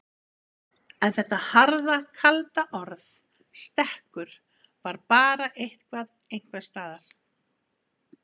En þetta harða, kalda orð stekkur var bara eitthvað einhvers staðar.